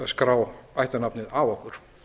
skrá ættarnafnið af okkur